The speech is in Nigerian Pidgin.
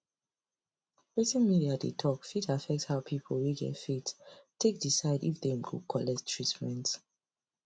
wetin media dey talk fit affect how people wey get faith take decide if dem go collect treatment